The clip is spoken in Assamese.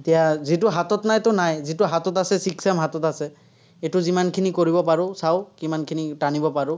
এতিয়া যিটো হাতত নাইতো, নাই। যিটো হাতত আছে, sixth sem হাতত আছে। এইটো যিমানখিনি কৰিব পাৰো, চাঁও কিমানখিনি টানিব পাৰো।